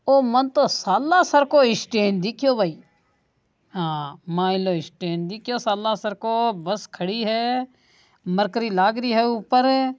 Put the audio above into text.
ओ तो मण तो सालासर को स्टैंड दिखो भई हां माइलो स्टैंड दिखो सालसर को बस खड़ी है मर्करी लाग री है ऊपर --